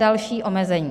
Další omezení.